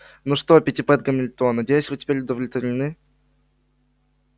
ну что питтипэт гамильтон надеюсь вы теперь удовлетворены